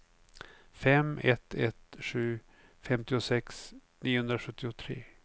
fem ett ett sju femtiosex niohundrasjuttiotre